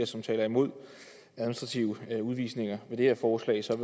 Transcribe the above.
som taler imod administrative udvisninger ved det her forslag så